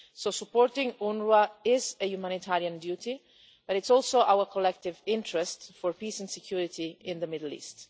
So, supporting UNWRA is a humanitarian duty and it is also in our collective interest for peace and security in the Middle East.